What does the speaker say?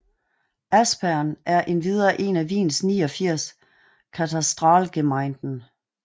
Aspern er endvidere én af Wiens 89 Katastralgemeinden